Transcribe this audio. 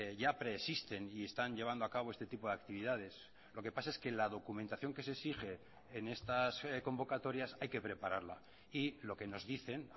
ya preexisten y están llevando a cabo este tipo de actividades lo que pasa es que la documentación que se exige en estas convocatorias hay que prepararla y lo que nos dicen